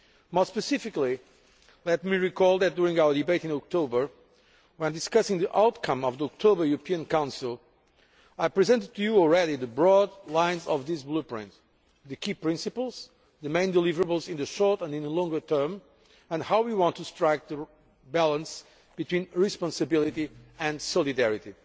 More specifically, let me recall that during our debate in October, when discussing the outcome of the October European Council, I presented to you in advance the broad lines of this Blueprint the key principles, the main deliverables in the short and in the longer term, and how we want to strike a balance between responsibility and solidarity.